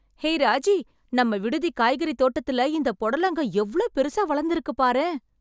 ஹே ராஜி... நம்ம விடுதி காய்கறி தோட்டத்துல இந்த பொடலங்கா எவ்ளோ பெருசா வளந்துருக்கு பாரேன்...